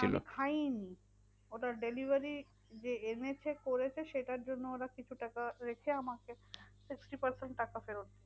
খাইনি ওটা delivery যে এনেছে করেছে সেটার জন্য ওরা কিছু টাকা রেখে আমাকে sixty percent টাকা ফেরত দিয়েছে।